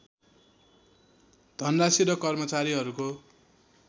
धनराशी र कर्मचारीहरूको